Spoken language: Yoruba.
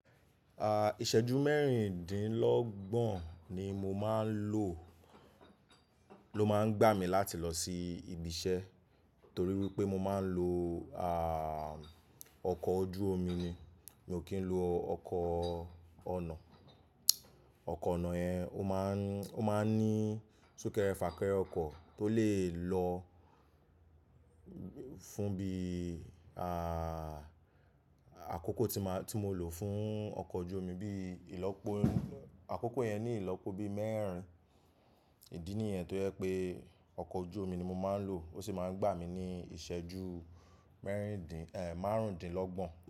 À, ìṣẹ́jú mẹ́rìndínlọ́gbọ̀n ni mo máa ń lò, ló máa ń gbà mí láti lọ sí ibi iṣẹ́ torí wípé mo máa ń lo, ah, ọkọ̀ ojú omi ni. Mi ò kí ń lo ọkọ̀ ọ̀nà. Ọkọ̀ ọ̀nà yẹn ó máa ń, ó máa ń ní súnkẹrẹ fàkẹrẹ ọkọ̀ tó lè lọ fún bí, ah, àkókò tí má, tí mo lò fún ọkọ̀ ojú omi bí ìlọ́po, àkókò yẹn ní ìlọ́po bí mẹ́rìn idí nìyẹn tó yẹ pé ọkọ̀ ojú omi ni mo máa ń lò. Ó sì máa ń gbà mí ní ìṣẹ́jú mẹ́rìndín, eh, márùndínlọ́gbọ̀n.